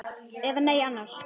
Eða nei annars.